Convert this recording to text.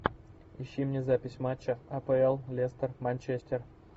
ищи мне запись матча апл лестер манчестер